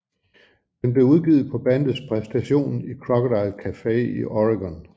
Den blev udgivet på bandets præstation i Crocodile Cafe i Oregon